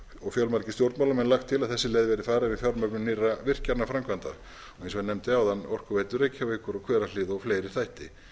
og fjölmargir stjórnmálamenn lagt til að þessi leið verði farin við fjármögnun nýrra virkjanaframkvæmda og eins og ég nefndi áðan orkuveitu reykjavíkur og hverahlíð og fleiri þætti